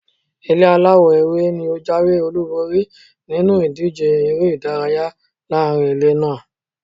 Ilé aláwọ̀ ewé ni ó jáwé-olúborí nínú ìdíje èrè-ìdárayá laarin ilé naa.